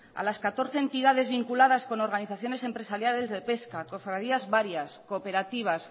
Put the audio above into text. a las catorce entidades vinculadas con organizaciones empresariales de pesca cofradías varias cooperativas